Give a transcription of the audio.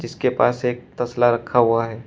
जिसके पास एक तसला रखा हुआ है।